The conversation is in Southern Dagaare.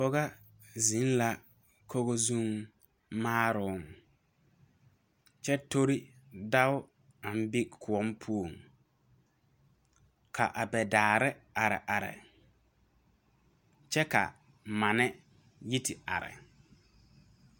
Pogɔ zeŋ la kogo zuŋ maaroŋ kyɛ tore dao aŋ be kõɔ poɔŋ ka abɛ daare pãã are kyɛ ka manne yi te are.